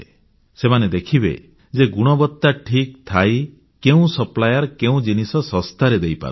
ସେମାନେ ଦେଖିବେ ଯେ ଗୁଣବତ୍ତା ଠିକ୍ ଥାଇ କେଉଁ ସପ୍ଲାଏର କେଉଁ ଜିନିଷ ଶସ୍ତାରେ ଦେଇପାରୁଛି